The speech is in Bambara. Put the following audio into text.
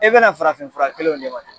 E bɛna farafinfura kelenw de ma